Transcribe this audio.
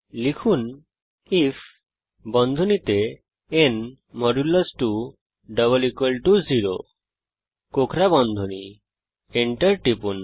লিখুন IF enter টিপুন